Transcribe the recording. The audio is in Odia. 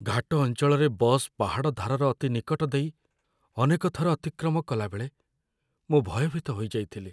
ଘାଟ ଅଞ୍ଚଳରେ ବସ୍ ପାହାଡ଼ ଧାରର ଅତି ନିକଟ ଦେଇ ଅନେକ ଥର ଅତିକ୍ରମ କଲାବେଳେ ମୁଁ ଭୟଭୀତ ହୋଇଯାଇଥିଲି।